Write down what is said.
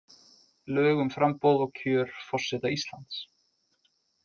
Lög um framboð og kjör forseta Íslands